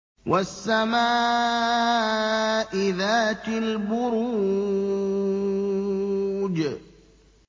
وَالسَّمَاءِ ذَاتِ الْبُرُوجِ